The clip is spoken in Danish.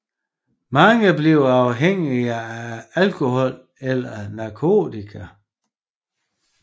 Mange bliver afhængige af alkohol eller narkotika